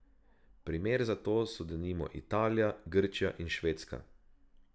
Primer za to so denimo Italija, Grčija in Švedska.